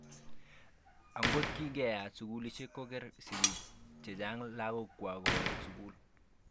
Angot kingeat sukulishek ko kiker sigik chechang lagok kwak kowek sukul.